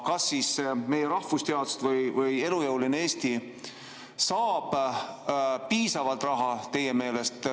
Kas siis meie rahvusteadused või elujõuline Eesti saab teie meelest piisavalt raha?